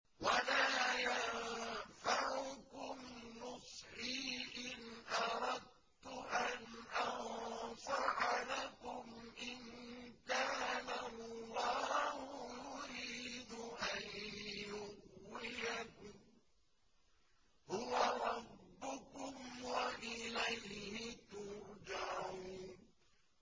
وَلَا يَنفَعُكُمْ نُصْحِي إِنْ أَرَدتُّ أَنْ أَنصَحَ لَكُمْ إِن كَانَ اللَّهُ يُرِيدُ أَن يُغْوِيَكُمْ ۚ هُوَ رَبُّكُمْ وَإِلَيْهِ تُرْجَعُونَ